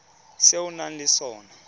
tse o nang le tsona